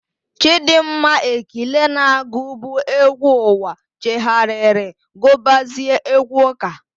Chịdịmma Ekile na-agụbu égwú ụwa chegharịrị gụbazie égwú ụ́kà.